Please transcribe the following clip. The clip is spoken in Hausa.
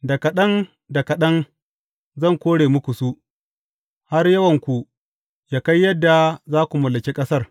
Da kaɗan da kaɗan zan kore muku su, har yawanku yă kai yadda za ku mallaki ƙasar.